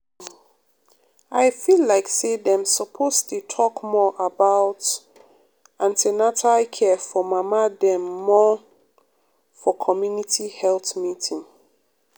um i feel like say dem suppose dey talk more about um an ten atal care for mama dem more um for community health meeting.